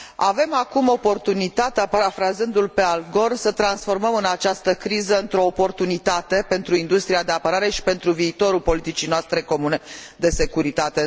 Avem acum oportunitatea, parafrazându l pe Al Gore, să transformăm această criză într o oportunitate pentru industria de apărare și pentru viitorul politicii noastre comune de securitate